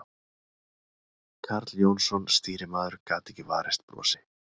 Karl Jónsson, stýrimaður, gat ekki varist brosi.